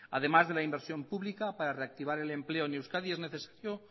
además de la inversión pública para reactivar el empleo en euskadi es necesario